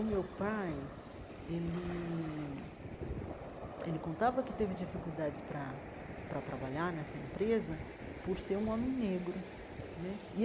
O meu pai ele ele contava que teve dificuldades para para trabalhar nessa empresa por ser um homem negro né.